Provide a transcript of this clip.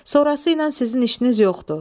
Sonrası ilə sizin işiniz yoxdur.